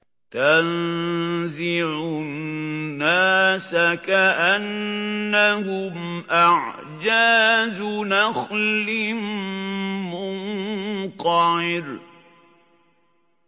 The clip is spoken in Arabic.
تَنزِعُ النَّاسَ كَأَنَّهُمْ أَعْجَازُ نَخْلٍ مُّنقَعِرٍ